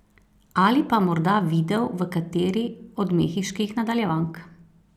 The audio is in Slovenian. Ali pa morda videl v kateri od mehiških nadaljevank?